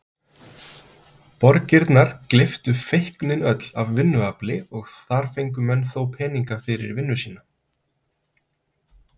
Borgirnar gleyptu feiknin öll af vinnuafli og þar fengu menn þó peninga fyrir vinnu sína.